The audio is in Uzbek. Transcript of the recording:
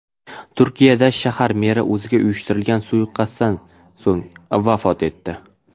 Turkiyadagi shahar meri o‘ziga uyushtirilgan suiqasddan so‘ng vafot etdi.